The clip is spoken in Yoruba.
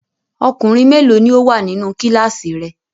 Ọkùnrin mélòó ni ó wà nínú kíláàsì rẹ?